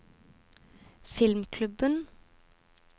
filmklubben